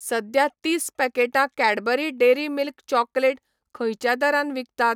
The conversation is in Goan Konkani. सध्या तीस पॅकेटां कैडबरी डेअरी मिल्क चॉकलेट खंयच्या दरान विकतात?